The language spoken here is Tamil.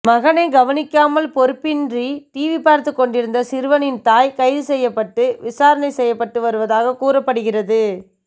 மகனை கவனிக்காமல் பொறுப்பின்றி டிவி பார்த்து கொண்டிருந்த சிறுவனின் தாய் கைது செய்யப்பட்டு விசாரணை செய்யப்பட்டு வருவதாகவும் கூறப்படுகிறது